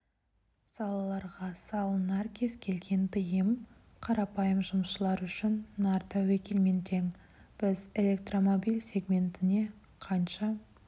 салаға салынар кез келген тыйым қарапайым жұмысшылар үшін нар тәуекелмен тең біз электромобиль сегментіне қанша